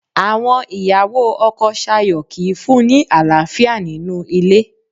Àwọn ìyàwó ọkọ Sayo kìí fún-un ní àlàáfíà nínú ilé